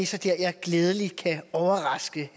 så der jeg glædeligt kan overraske